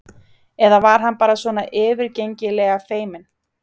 Eða var hann bara svona yfirgengilega feiminn?